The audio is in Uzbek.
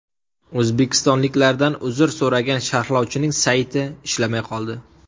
O‘zbekistonliklardan uzr so‘ragan sharhlovchining sayti ishlamay qoldi.